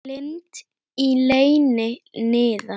Lind í leyni niðar.